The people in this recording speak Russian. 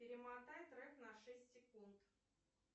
перемотай трек на шесть секунд